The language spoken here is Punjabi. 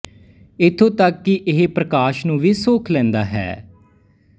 ਇਥੋਂ ਤੱਕ ਕਿ ਇਹ ਪ੍ਰਕਾਸ਼ ਨੂੰ ਵੀ ਸੋਖ ਲੈਂਦਾ ਹੈ